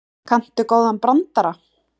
Kanntu góðan brandara?